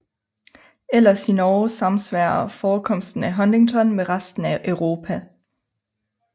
Ellers i Norge samsvarer forekomsten af Huntington med resten af Europa